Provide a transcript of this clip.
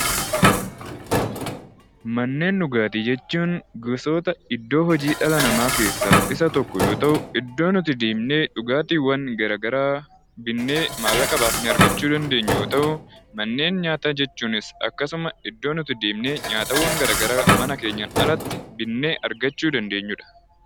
Manneen dhugaatii jechuun gosoota iddoo hojii dhala namaa keessaa isa tokko yoo ta'u, iddoowwan nuti deemnee dhugaatiiwwan gara garaa binnee maallaqa baasne argachuu dandeenyu yoo ta'u; Manneen nyaataa jechuunis akkasuma iddoo nuti deemnee nyaataawwan gara garaa mana keenyaan alatti binnee argachuu dsndeenyu dha.